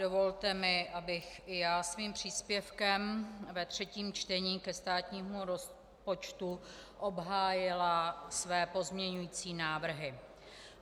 Dovolte mi, abych i já svým příspěvkem ve třetím čtení ke státnímu rozpočtu obhájila své pozměňující návrhy.